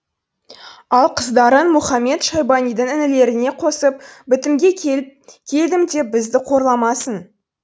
ал қыздарын мұхамед шайбанидың інілеріне қосып бітімге келдім деп бізді қорламасын